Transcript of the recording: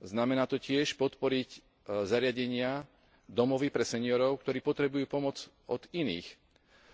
Znamená to tiež podporiť zariadenia, domovy pre seňorov, ktorí potrebujú pomoc od iných